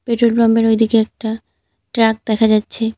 Petrol পাম্পের ওইদিকে একটা ট্রাক দেখা যাচ্ছে।